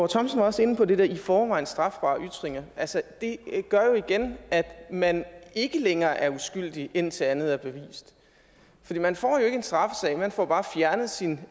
thomsen var også inde på det der med i forvejen strafbare ytringer altså det gør jo igen at man ikke længere er uskyldig indtil andet er bevist man får jo en straffesag man får bare fjernet sin